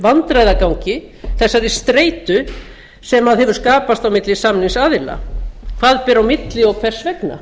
vandræðagangi standi þessari streitu sem hefur skapast á milli samningsaðila hvað ber á milli og hvers vegna